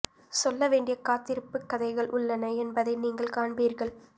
சொல்ல வேண்டிய காத்திருப்புக் கதைகள் உள்ளன என்பதை நீங்கள் காண்பீர்கள்